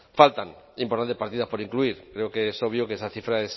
faltan importantes partidas por incluir creo que es obvio que esa cifra